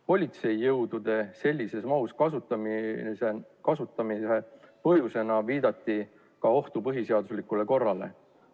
Politseijõudude sellises mahus kasutamise põhjusena nimetati ohtu põhiseaduslikule korrale.